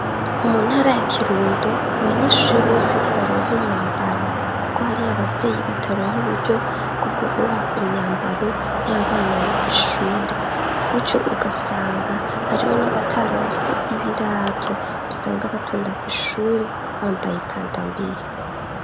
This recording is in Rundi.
Mu ntara ya Kirundo, abanyeshure bose ntibaronka umwambaro kuko hariho abavyeyi bataronka uburyo bwo kugura imyambaro y'abana yo kw'ishure. Gutyo ugasanga hariho n'abataronse ibirato, usanga batonda kw'ishure bambaye ikandambiri.